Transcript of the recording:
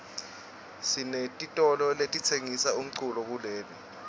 sinetitolo letitsengisa umculo kuleli